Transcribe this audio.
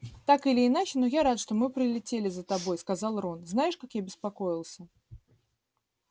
так или иначе но я рад что мы прилетели за тобой сказал рон знаешь как я беспокоился